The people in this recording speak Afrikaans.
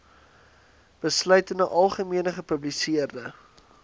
besluite algemene gepubliseerde